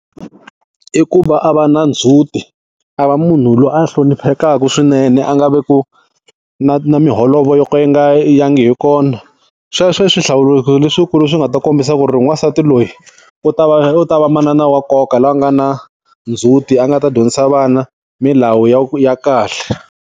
I ku va a va na ndzhuti, a va munhu loyi a hloniphekaku swinene a nga ve ku, na na miholovo yo ka yi nga yangi hi kona. Sweswo i swi hlawulekisi leswikulu leswi nga ta kombisa ku ri n'wansati loyi, u ta va u ta va manana wa nkoka loyi a nga na ndzhuti a nga ta dyondzisa vana, milawu ya kahle.